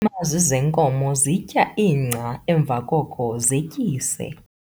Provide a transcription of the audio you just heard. iimazi zeenkomo zitya ingca, emva koko zetyise